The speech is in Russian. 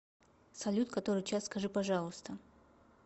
салют который час скажи пожалуйста